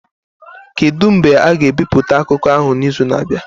Kedu mgbe a ga-ebipụta akụkọ ahụ n'izu na-abịa?